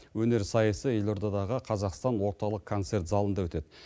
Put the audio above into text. өнер сайысы елордадағы қазақстан орталық концерт залында өтеді